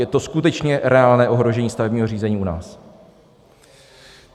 Je to skutečně reálné ohrožení stavebního řízení u nás.